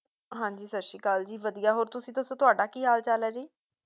ਹਾਂਜੀ ਸਤਿ ਸ਼੍ਰੀ ਅਕਾਲ ਜੀ, ਵਧੀਆ ਹੋਰ ਤੁਸੀ ਦੱਸੋ ਤੁਹਾਡਾ ਕੀ ਹਾਲ ਚਾਲ ਹੈ ਜੀ